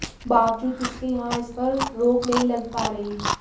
बावजूद इसके यहां इस पर रोक नहीं लग पा रही